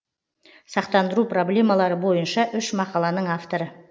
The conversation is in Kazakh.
сақтандыру проблемалары бойынша үш мақаланың авторы